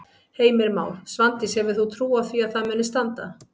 Heimir Már: Svandís hefur þú trú á því að það muni standa?